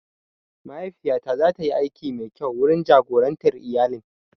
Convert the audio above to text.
Mahaifiya ta zatayi aiki mai kyau wurin jagorantar iyalin.